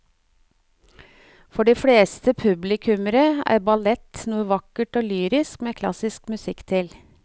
For de fleste publikummere er ballett noe vakkert og lyrisk med klassisk musikk til.